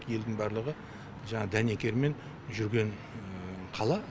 елдің барлығы жаңағы дәнекермен жүрген қала